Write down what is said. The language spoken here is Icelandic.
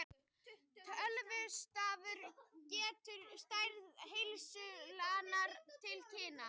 Tölustafurinn gefur stærð hleðslunnar til kynna.